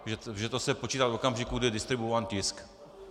Že to se počítá od okamžiku, kdy je distribuován tisk?